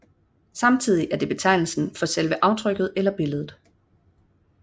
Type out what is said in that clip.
Samtidig er det betegnelsen for selve aftrykket eller billedet